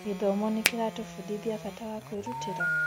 Gĩthomo nĩkĩratũbundithia bata wa kwĩrutĩra?